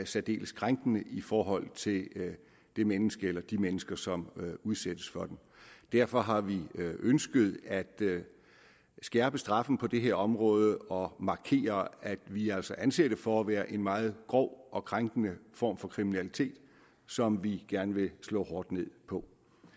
særdeles krænkende i forhold til det menneske eller de mennesker som udsættes for den derfor har vi ønsket at skærpe straffen på det her område og markere at vi altså anser det for at være en meget grov og krænkende form for kriminalitet som vi gerne vil slå hårdt ned på